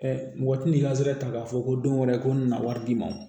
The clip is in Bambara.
mɔgɔ ti nin kazɛrɛ ta k'a fɔ ko don wɛrɛ ko nana wari d'i ma